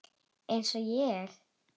Eins og ég?